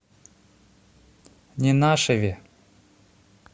ненашеве